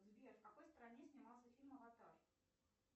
сбер в какой стране снимался фильм аватар